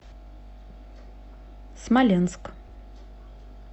смоленск